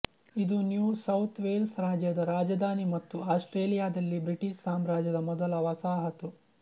ಇದು New South Wales ರಾಜ್ಯದ ರಾಜಧಾನಿ ಮತ್ತು ಆಸ್ಟ್ರೇಲಿಯಾದಲ್ಲಿ ಬ್ರಿಟಿಷ್ ಸಾಮ್ರಾಜ್ಯದ ಮೊದಲ ವಸಾಹತು